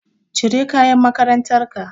Cire kayan makarantar ka.